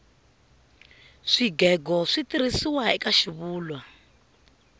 swigego switirhisiwa eka xivulwa